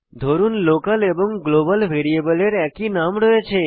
ধরুন লোকাল এবং গ্লোবাল ভ্যারিয়েবলের একই নাম রয়েছে